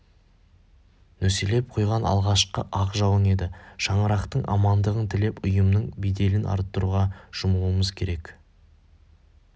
нөсерлеп құйған алғашқы ақ жауын еді шаңырақтың амандығын тілеп ұйымның беделін арттыруға жұмылуымыз керек